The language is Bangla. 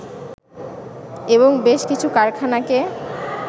এবং বেশ কিছু কারখানাকে